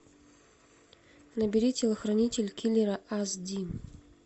набери телохранитель киллера ас ди